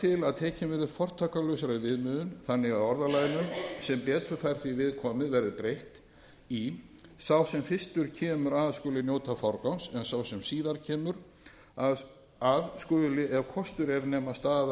til að tekin verði upp fortakslausari viðmiðun þannig að orðalaginu sem betur fær því við komið verði breytt í að sá ökumaður sem fyrstur kemur að skuli njóta forgangs en sá sem síðar kemur að skal ef kostur er nema